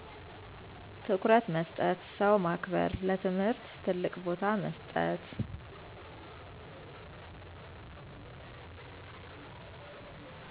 ትኩረት መስጠት ,ሰው ማክበር :ለትምህርት ትልቅ ቦታ መስጠት